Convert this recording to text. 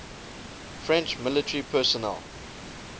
french military personnel